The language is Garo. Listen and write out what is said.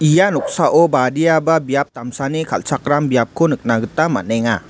ia noksao badiaba biap damsani kal·chakram biapko nikna gita man·enga.